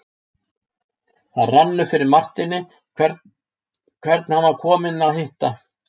Það rann upp fyrir Marteini hvern hann var kominn að hitta.